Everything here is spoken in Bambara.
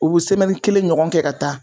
U bi kelen ɲɔgɔn kɛ ka taa